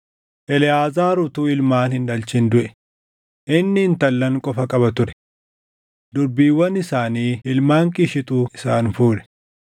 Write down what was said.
Eleʼaazaar utuu ilmaan hin dhalchin duʼe; inni intallan qofa qaba ture. Durbiiwwan isaanii ilmaan Qiishitu isaan fuudhe.